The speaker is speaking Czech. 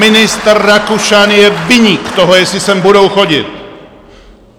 Ministr Rakušan je viník toho, jestli sem budou chodit!